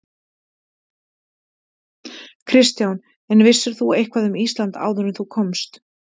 Kristján: En vissir þú eitthvað um Ísland áður en þú komst?